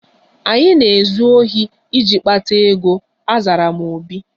Anyị na-ezu ohi iji kpata ego, azara m obi